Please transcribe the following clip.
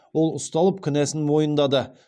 ол ұсталып кінәсін мойындады